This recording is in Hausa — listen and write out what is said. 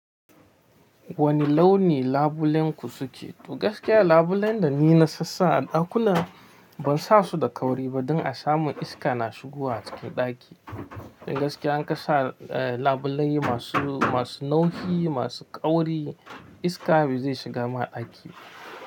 Wanne launi labulenku suke? To gaskiya labulen da ni na sasa a ɗakuna ban sa su da kauri ba don a samu iska na shigowa cikin ɗaki. Don gaskiya an ka sa, eh, labulai masu, masu nauhi, masu ƙauri iska bai shiga ma ɗaki.